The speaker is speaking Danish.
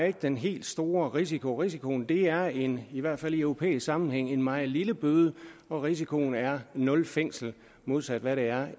er den helt store risiko risikoen er en i hvert fald i europæisk sammenhæng meget lille bøde og risikoen er nul fængsel modsat hvad der